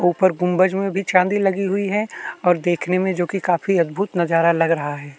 ऊपर गुम्बज में भी चांदी लगी हुई है और देखने में जो की काफी अद्भुत नजारा लग रहा है।